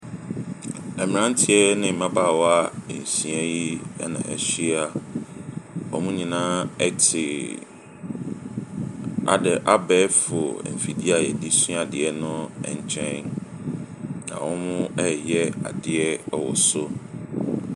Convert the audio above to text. Mmranteɛ ne mmabaawa nsia yi na ahyia. Wɔn nyinaa te adɛɛ abɛɛfo mfidie a yɛdesua adeɛ nkyɛn. Na wɔn reyɛ adeɛ wɔ so.